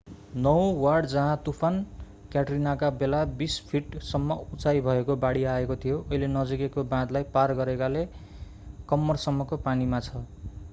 नवौं ward जहाँ तुफान क्याट्रिनाका बेला 20 फिट सम्म उचाई भएको बाढी आएको थियो अहिले नजिकैको बाँधलाई पार गरेकाले कम्मरसम्मको पानीमा छ